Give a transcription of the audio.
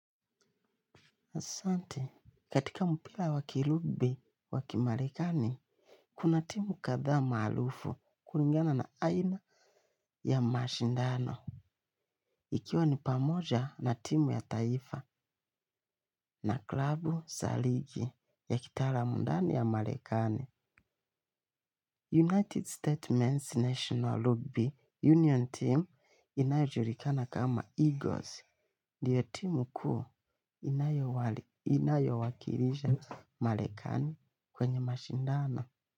Asante, katika mpira wa kilubi wakimarekani, kuna timu kadhaa maarufu kulingana na aina ya mashindano. Ikiwa ni pamoja na timu ya taifa na klabu za ligi ya kitaalum ndani ya marekani. United States Men's National Rugby Union Team inayojulikana kama Eagles. Ndiyo timu kuu inayowakilisha marekani kwenye mashindano.